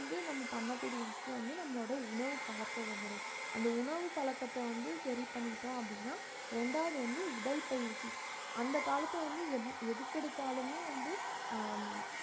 வந்து நம்ம பண்ணக்கூடிய விஷயம் வந்து நம்மளோட உணவு பழக்கவு முறை அந்த உணவு பழக்கத்தை வந்து சரி பண்ணிட்டோம் அப்படின்னா ரெண்டாவது வந்து உடல்பயிற்சி அந்த காலத்துல வந்து எ~ எதுக்கு எடுத்தாலுமே வந்து ஹம்